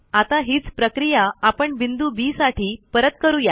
आता हीच प्रक्रिया आपण बिंदू बी साठी परत करू या